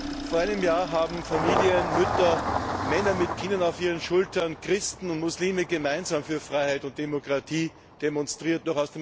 Herr Präsident! Vor einem Jahr haben Familien, Mütter, Männern mit Kinder auf ihren Schultern, Christen und Muslime gemeinsam für Freiheit und Demokratie demonstriert.